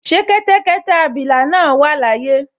Ṣé kẹ́tẹ́kẹ́tẹ́ abilà náà wà láyé?